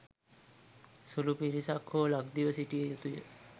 සුළු පිරිසක් හෝ ලක්දිව සිටිය යුතුය.